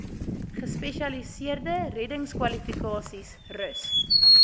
gespesialiseerde reddingskwalifikasies rus